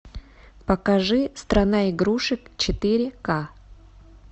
покажи страна игрушек четыре ка